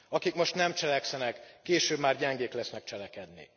Akik most nem cselekszenek, később már gyengék lesznek cselekedni.